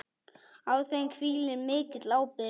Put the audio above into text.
Á þeim hvílir mikil ábyrgð.